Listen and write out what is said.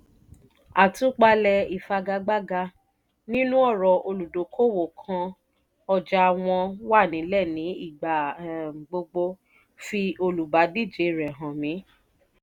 àtúpalẹ̀ ìfagagbága: nínú ọ̀rọ̀ olùdókòwò kan ' ọjà wọn wà nílẹ̀ ní ìgbà um gbogbo fi olùbádíje rẹ hàn mi'